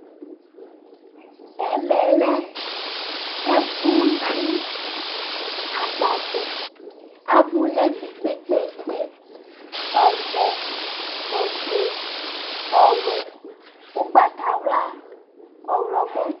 ɛmɛlɛ ɛfuyi ɑgbɑvlɛ ɑbunɛfɛ kpɛkpɛkpɛ ɔvɛ ɔfuɛ ɔwɛ ukpɑtɑylɑ ɔhlomo